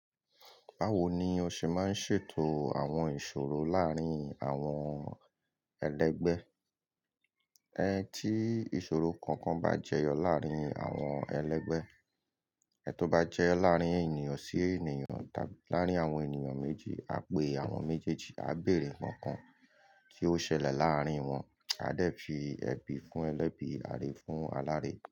Báwo ni o ṣe máa ń ṣètò àwọn ìṣòro láàárín àwọn ẹlẹ́gbẹ́? Ẹ̀ tí ìṣòro kankan bá jẹyọ láàárín àwọn ẹlẹ́gbẹ́, ẹ tó bá jẹ́ láàárín ènìyàn sí ènìyàn tàbí láàárín àwọn ènìyàn méjì, a pè àwọn méjèèjì, a béèrè ǹkankan tí ó ṣẹlẹ̀ láàárín wọn. A dẹ̀ fi ẹbí fún ẹlẹ́bí, ààrẹ fún alààrẹ.